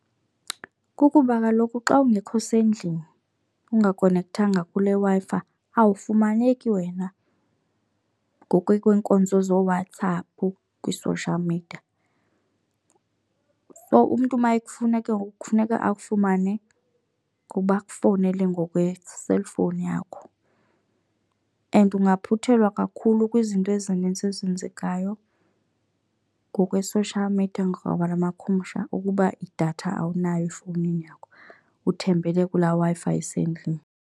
Kukuba kaloku xa ungekho sendlini ungakonekthanga kule Wi-Fi awafumaneki wena ngokwenkonzo zooWhatsapp kwi-social media. So, umntu uma ekufuna ke ngoku kufuneka akufumane kuba akufowunele ngokweselfowuni yakho. And ungaphuthelwa kakhulu kwizinto ezininzi ezenzekayo ngokwe-social media ngabalamakhumsha ukuba idatha awunayo efowunini yakho uthembele kula Wi-Fi isendlini.